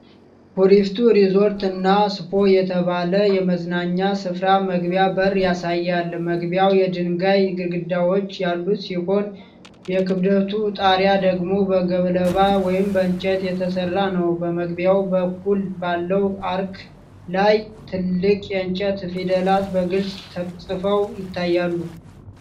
ኩሪፍቱ ሪዞርት እና ስፓ" የተባለ የመዝናኛ ስፍራ መግቢያ በር ያሳያል። መግቢያው የድንጋይ ግድግዳዎች ያሉት ሲሆን፣ የክብደቱ ጣሪያ ደግሞ በገለባ ወይም በእንጨት የተሰራ ነው። በመግቢያው በኩል ባለው አርክ ላይ ትልቅ የእንጨት ፊደላት በግልጽ ተጽፈው ይታያሉ።